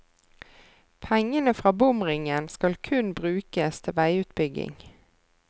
Pengene fra bomringen skal kun brukes til veiutbygging.